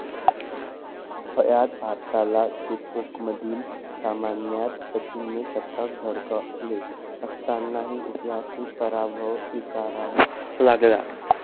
ह्यात भारताला चेपौकमधील सामन्यात सचिनने शतक झळकावले असतानाही ऐतिहासिक पराभव स्वीकारावा लागला.